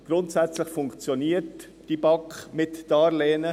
Grundsätzlich funktioniert die BAK mit Darlehen: